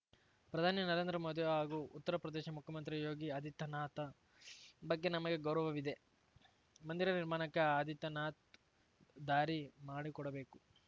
ಪ್ರಧಾನಿ ನರೇಂದ್ರ ಮೋದಿ ಹಾಗೂ ಉತ್ತರಪ್ರದೇಶ ಮುಖ್ಯಮಂತ್ರಿ ಯೋಗಿ ಆದಿತ್ಯನಾಥ ಬಗ್ಗೆ ನಮಗೆ ಗೌರವವಿದೆ ಮಂದಿರ ನಿರ್ಮಾಣಕ್ಕೆ ಆದಿತ್ಯನಾಥ್‌ ದಾರಿ ಮಾಡಿಕೊಡಬೇಕು